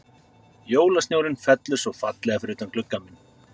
Jólasnjórinn fellur svo fallega fyrir utan gluggann minn.